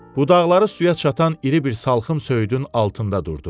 Budaqları suya çatan iri bir salxım söyüdün altında durdu.